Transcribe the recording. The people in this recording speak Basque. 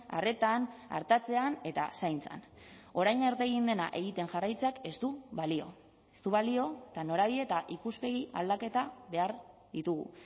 arretan artatzean eta zaintzan orain arte egin dena egiten jarraitzeak ez du balio ez du balio eta norabide eta ikuspegi aldaketa behar ditugu